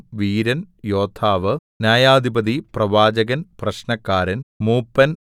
വീരൻ യോദ്ധാവ് ന്യായാധിപതി പ്രവാചകൻ പ്രശ്നക്കാരൻ മൂപ്പൻ